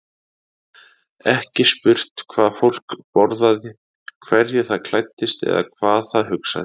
Ekki spurt hvað fólk borðaði, hverju það klæddist eða hvað það hugsaði.